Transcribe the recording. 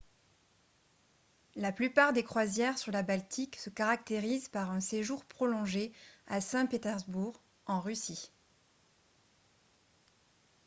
la plupart des croisières sur la baltique se caractérisent par un séjour prolongé à saint-pétersbourg en russie